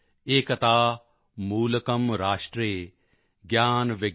ਏਕਤਾ ਮੂਲਕਮ੍ ਰਾਸ਼ਟਰੇ ਗਿਆਨ ਵਿਗਿਆਨ ਪੋਸ਼ਕਮ੍